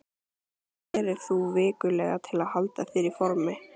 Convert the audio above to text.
Hvað gerir þú vikulega til að halda þér í formi?